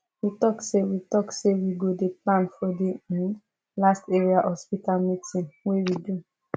we talk say we talk say we go dey plan for the um last area hospital meeting wey we do